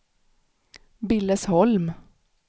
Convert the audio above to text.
Billesholm